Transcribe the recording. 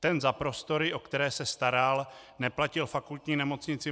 Ten za prostory, o které se staral, neplatil Fakultní nemocnici